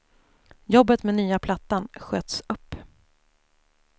Jobbet med nya plattan sköts upp.